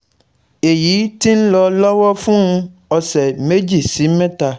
Èyí ti ń lọ lọ́wọ́ fún ọ̀sẹ̀ méjì sí mẹ́ta